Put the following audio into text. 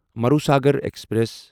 Marusagar express